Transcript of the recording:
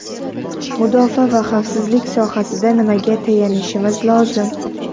Mudofaa va xavfsizlik sohasida nimaga tayanishimiz lozim?